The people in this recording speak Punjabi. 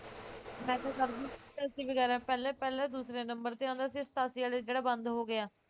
message ਕਰਦੀ ਪਹਿਲਾਂ ਪਹਿਲੇ ਦੂਸਰੇ number ਤੇ ਆਉਂਦਾ ਸੀ ਸਤਾਸੀ ਵਾਲੇ ਜਿਹ੍ਹੜਾ ਬੰਦ ਹੋ ਗਿਆ